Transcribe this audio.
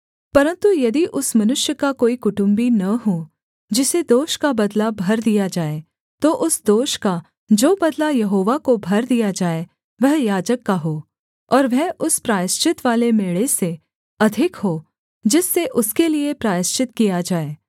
परन्तु यदि उस मनुष्य का कोई कुटुम्बी न हो जिसे दोष का बदला भर दिया जाए तो उस दोष का जो बदला यहोवा को भर दिया जाए वह याजक का हो और वह उस प्रायश्चितवाले मेढ़े से अधिक हो जिससे उसके लिये प्रायश्चित किया जाए